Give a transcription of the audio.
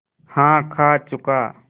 हाँ खा चुका